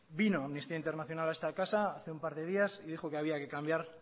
vino amnistía internacional a esta casa hace un par de días y dijo que había que cambiar